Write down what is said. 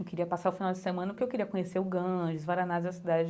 Eu queria passar o final de semana, porque eu queria conhecer o Ganges, Varanasi, a cidade,